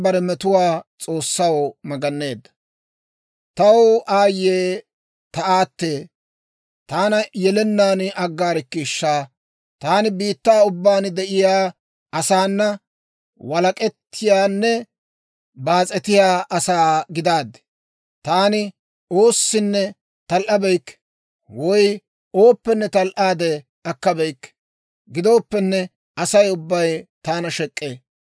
Taw aayye ta aatee! Taana yelennaan aggaarkkiishsha! Taani biittaa ubbaan de'iyaa asaana walak'ettiyaanne baas'etiyaa asaa gidaaddi. Taani oossinne tal"abeykke, woy ooppenne tal"aade akkabeyikke; gidooppenne, Asay ubbay taana shek'k'ee.